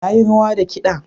Na yi rawa da kiɗa.